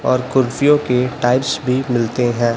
और कुर्सियों के टाइप्स भी मिलते हैं।